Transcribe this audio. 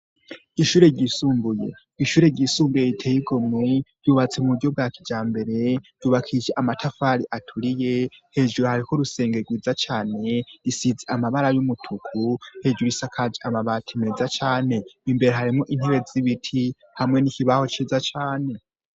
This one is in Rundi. Ishure ryisumbuye ,ishure ry'isumbuye riteye igomwe, ryubatse mu buryo bwa kijambere ,ryubakishije amatafari aturiye, hejuru hariko urusenge rwiza cane ,risize amabara y'umutuku, hejuru isakaje amabati meza cane, imbere harimwo intebe z'ibiti, hamwe n'ikibaho ciza cane.